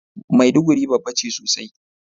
Maiduguri babba ce sosai.